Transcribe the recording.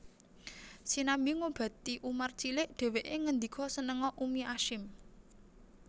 Sinambi ngobati Umar cilik dheweke ngendika Senenga Ummi Ashim